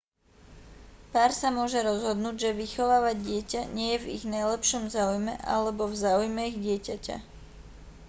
pár sa môže rozhodnúť že vychovávať dieťa nie je v ich najlepšom záujme alebo v záujme ich dieťaťa